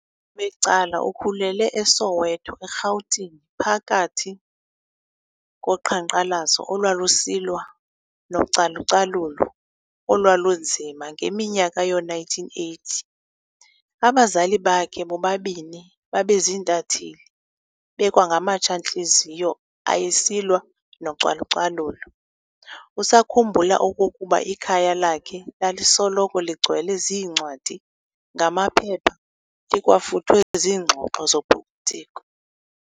Ubukhulu becala ukhulele eSowetho, eRhawutini, phakathi kuqhankqalazo olwalusilwa nocalucalulo olwalunzima ngeminyaka yoo1980. Abazali bakhe bobabini babeziintatheli bekwangamatsha ntliziyo ayesilwa nocalucalulo, usakhumbula okokuba ikhaya lakhe lalisoloko ligcwele ziincwadi, ngamaphepha, likwafuthwe ziingxoxo zopolitiko.